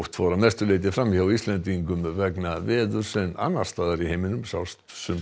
fór að mestu leyti fram hjá Íslendingum í vegna veðurs en annars staðar í heiminum sást